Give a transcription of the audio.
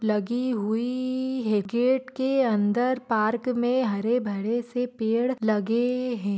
लगी हुई--हे गेट के अंदर पार्क मे हरे भरे से पेड़ लगे है।